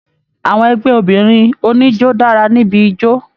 Àwọn ẹgbẹ obìnrin oníjó dara níbí ijó.